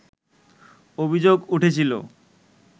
অভিযোগ উঠেছিল